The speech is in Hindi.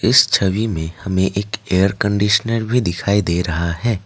इस छवि में हमें एक एयर कंडीशनर भी दिखाई दे रहा है।